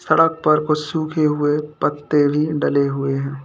सड़क पर कुछ सूखे हुए पत्ते भी डले हुए हैं।